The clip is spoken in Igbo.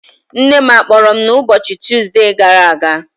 Nne m a kpọrọ m n'ụbọchị Tuuzde gara aga?